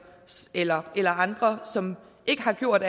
eller eller andre som ikke har gjort